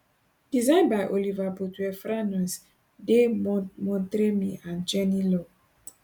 design by oliver bothwell franois de montremy and jenny law